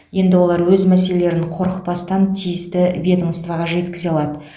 енді олар өз мәселелерін қорықпастан тиісті ведомствоға жеткізе алады